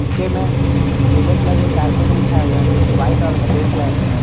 नीचे मे नीले कलर के कारपेट बिछाए हुए हैं जो कि व्हाइट और ब्लू कलर के हैं।